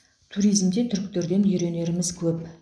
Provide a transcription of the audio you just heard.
туризмде түріктерден үйренеріміз көп